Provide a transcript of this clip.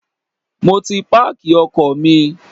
Mo ti páàkì ọkọ̀ mi.